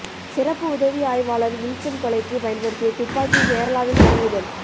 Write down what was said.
சிறப்பு உதவி ஆய்வாளர் வில்சன் கொலைக்கு பயன்படுத்திய துப்பாக்கி கேராளாவில் பறிமுதல்